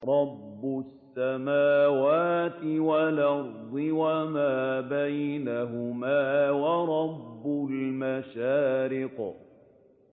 رَّبُّ السَّمَاوَاتِ وَالْأَرْضِ وَمَا بَيْنَهُمَا وَرَبُّ الْمَشَارِقِ